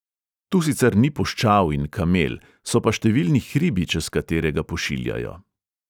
Tu sicer ni puščav in kamel, so pa številni hribi, čez katere ga pošiljajo.